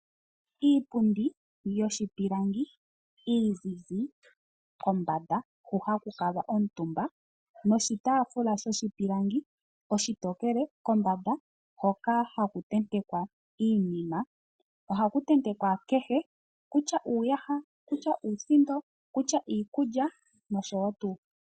Iipundi yoshipilangi iizizi kombanda hoka haku kuutumbwa noshitaafula shoshipilangi oshitokele kombanda hoka haku tentekwa iinima. Ohaku tentekwa kehe shimwe, kutya uuyaha, uusindo, uuyaha nosho tuu.